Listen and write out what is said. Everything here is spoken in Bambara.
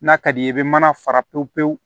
N'a ka d'i ye i bɛ mana fara pewu pewu